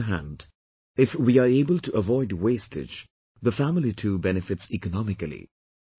On the other hand, if we are able to avoid wastage, the family too benefits economically